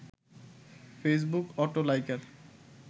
Facebook auto liker